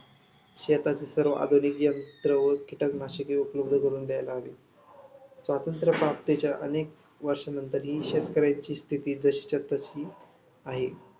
शेताचे सर्व आधुनिक तंत्र व कीटकनाशके उपलब्ध करून द्यायला हवी. स्वातंत्र्य भारताच्या अनेक वर्षांनंतरही शेतकऱ्याची स्थिती जशीच्या तशी आहे.